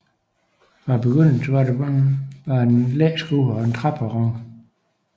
Fra begyndelsen var der blot et læskur og en træperron